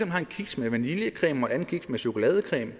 har en kiks med vaniljecreme og en anden kiks med chokoladecreme